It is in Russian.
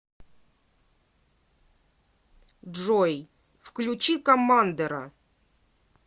джой включи коммандера